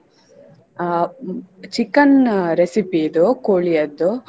ಅಹ್ chicken recipe ಇದು ಕೋಳಿಯದ್ದು.